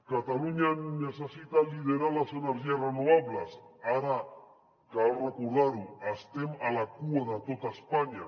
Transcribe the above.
catalunya necessita liderar les energies renovables ara cal recordar ho estem a la cua de tot espanya